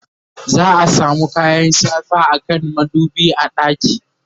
za'a samu kayan shafa akan madubi a ɗaki